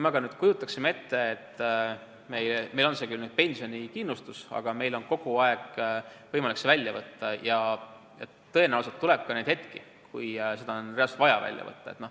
Aga kujutame nüüd ette, et meil on küll pensionikindlustus, aga meil on kogu aeg võimalik see raha välja võtta ja tõenäoliselt tuleb ette ka neid hetki, kui raha ongi reaalselt vaja välja võtta.